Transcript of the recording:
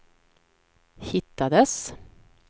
hittades